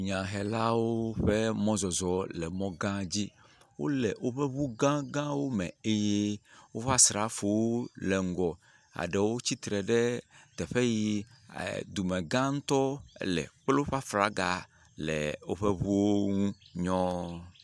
nyahelawo ƒe mɔ zɔzɔ le mɔgã dzi wóle wóƒe ʋu gã gãwo me eye woƒe asrafowo le ŋgɔ aɖewo tsitre ɖe teƒe yi dumegã ŋtɔ ele kple woƒe fraga le wóƒe ʋuwo ŋu nyɔɔ